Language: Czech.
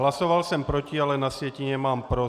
Hlasoval jsem proti, ale na sjetině mám pro.